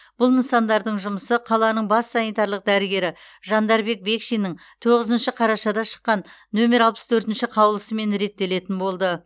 бұл нысандардың жұмысы қалалның бас санитарлық дәрігері жандарбек бекшиннің тоғызыншы қарашада шыққан нөмер алпыс төртінші қаулысымен реттелетін болды